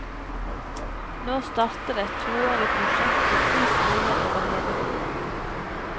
Nå starter et toårig prosjekt ved ti skoler over hele byen.